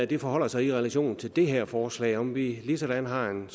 det forholder sig i relation til det her forslag om vi ligesådan har en